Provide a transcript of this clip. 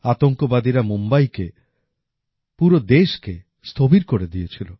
আতঙ্কবাদীরা মুম্বাইকে পুরো দেশকে স্থবির করে দিয়েছিল